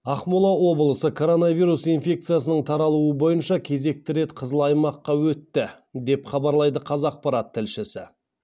ақмола облысы коронавирус инфекциясының таралуы бойынша кезекті рет қызыл аймаққа өтті деп хабарлайды қазақпарат тілшісі